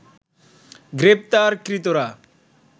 গ্রেপ্তারকৃতরা